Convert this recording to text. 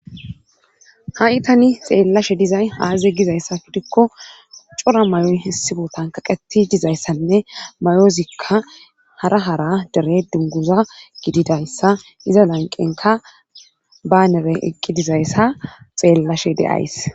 Ha7i tani xeellashe dizay aaze gizayssa gidikko cora mayoy issi bootan kaqetti dizayssanne mayozikka hara hara dere dunguza gididayssa iza lanqqenkka baanere eqqi dizayssa xeellashe de7ays.